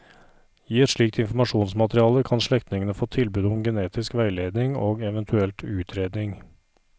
I et slikt informasjonsmateriale kan slektningene få tilbud om genetisk veiledning og eventuelt utredning.